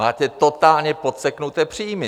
Máte totálně podseknuté příjmy!